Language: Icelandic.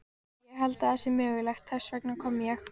Ég held að það sé mögulegt, þess vegna kom ég.